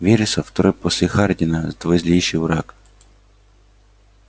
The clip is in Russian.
вересов второй после хардина твой злейший враг